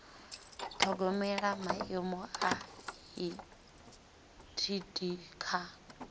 ṱhogomela maimo a etd kha